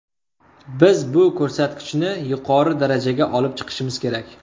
Biz bu ko‘rsatkichni yuqori darajaga olib chiqishimiz kerak.